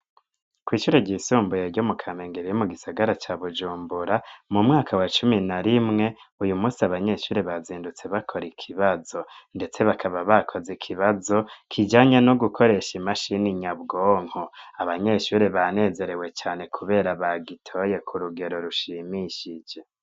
Kw'ishure ryisumbuye ryo mu Kamenge riri mu gisagara ca Bujumbura mu mwaka wa cumi na rimwe uyu musi abanyeshure bazindutse bakora ikibazo ndetse bakaba bakoze ikibazo kijanye no gukoresha imashini nyabwonko abanyeshure banezerewe cane kubera bagitoye ku rugero rushimishije